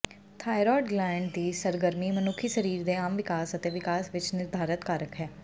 thyroid gland ਦੀ ਸਰਗਰਮੀ ਮਨੁੱਖੀ ਸਰੀਰ ਦੇ ਆਮ ਵਿਕਾਸ ਅਤੇ ਵਿਕਾਸ ਵਿੱਚ ਨਿਰਧਾਰਤ ਕਾਰਕ ਹੈ